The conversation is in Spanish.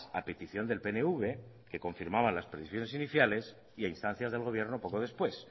a petición del pnv que confirmaba las previsiones iniciales y a instancias del gobierno poco después